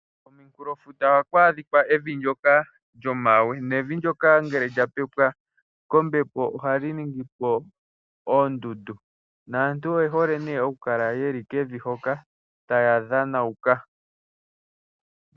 Komunkulofuta ohaku adhika evi ndyoka lyomawe nevi ndyoka shapwa lya pepwa kombepo ohali ningipo oondundu, naantu oye hole nee oku kala yeli Kevin ndyoka taya dhanauka.